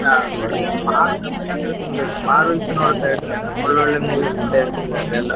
ಹಾ ಅಂದ್ರೆ ತುಂಬಾ ಇಷ್ಟ ನೋಡ್ತಾ ಇರ್ತೇನೆ ಒಳ್ಳೆ ಒಳ್ಳೆ movies ಇರ್ತದೆ ಅದೆಲ್ಲ.